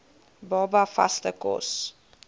baba vaste kos